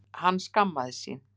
Hann skammaðist sín.